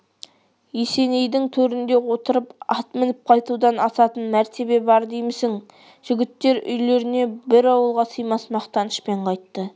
есенейдің төрінде отырып ат мініп қайтудан асатын мәртебе бар деймісің жігіттер үйлеріне бір ауылға сыймас мақтанышпен қайтты